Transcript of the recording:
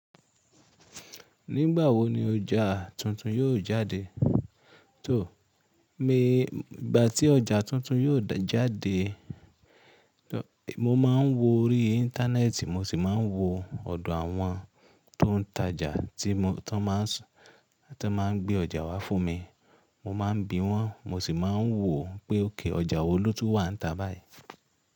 Nígbà wo ni ọjà tuntun yóò jáde? Tó, nígbà tí ọjà tuntun yóò jáde, mo máa ń wo orí Íńtánẹ́ẹ̀tì, mo sì máa ń wo ọ̀dọ̀ àwọn tó ń tajà tí wọ́n máa ń gbé ọjà wá fún mi. Mo má ń bi wọn mo sì máa ń wò ó pé òkè ọjà wo ló ti wà níta báyìí.